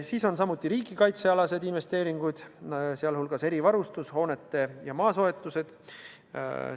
Samuti on suured riigikaitsealased investeeringud, sh erivarustuse, hoonete ja maa soetus.